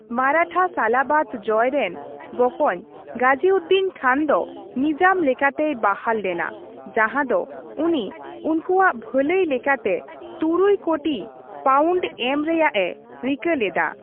ᱢᱟᱨᱟᱴᱷᱟ ᱥᱟᱞᱟᱵᱟᱫᱽ ᱡᱚᱭ ᱨᱮᱱ ᱵᱚᱠᱚᱧ ᱜᱟᱡᱤᱩᱫᱤᱱ ᱠᱷᱟᱱ ᱫᱚ ᱱᱤᱡᱟᱢ ᱞᱮᱠᱟᱛᱮᱭ ᱵᱟᱦᱟᱞ ᱞᱮᱱᱟ, ᱡᱟᱸᱦᱟ ᱫᱚ ᱩᱱᱤ ᱩᱱᱠᱩᱣᱟᱜ ᱵᱷᱟᱹᱞᱟᱹᱭ ᱞᱮᱠᱟᱛᱮ ᱛᱩᱨᱩᱭ ᱠᱳᱴᱤ ᱯᱟᱣᱩᱱᱴ ᱮᱢ ᱨᱮᱭᱟᱜᱼᱮ ᱨᱤᱠᱟᱹ ᱞᱮᱫᱟ ᱾